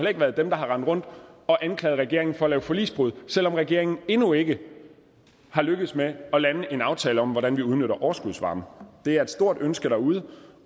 ikke været dem der har rendt rundt og anklaget regeringen for at lave forligsbrud selv om regeringen endnu ikke er lykkedes med at lande en aftale om hvordan vi udnytter overskudsvarme det er et stort ønske derude